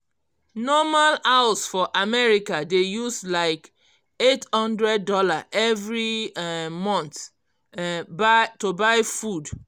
normal house for america dey use like $800 every um month um to buy food